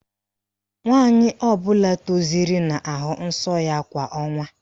Nwaanyị ọbụla tozuru na-ahụ nsọ ya kwa ọnwa.